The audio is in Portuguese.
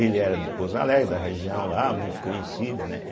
Ele era de Pouso Alegre, da região lá, muito conhecido, né?